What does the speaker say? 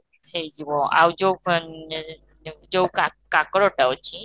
ହେଇଯିବ ଆଉ ଯୋଉ ଏମ ଅ ଯୋଉ କା କାକରଟା ଅଛି